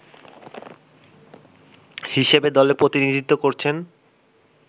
হিসেবে দলে প্রতিনিধিত্ব করছেন